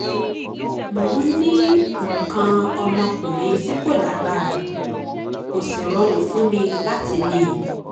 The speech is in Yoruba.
mo ń ní nǹkan ọmọkuùnrin tí kò lágbára kò sì rọrùn fún mi láti ní in